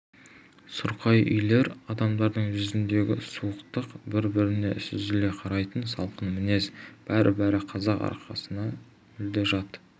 сұрқай үйлер адамдардың жүзіндегі суықтық бір-біріне сүзіле қарайтын салқын мінез бәрі-бәрі қазақ арасына мүлде жат